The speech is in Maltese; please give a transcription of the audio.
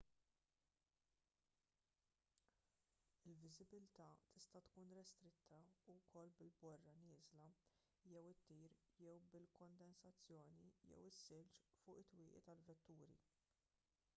il-viżibilità tista' tkun restritta wkoll bil-borra nieżla jew ittir jew bil-kondensazzjoni jew is-silġ fuq it-twieqi tal-vetturi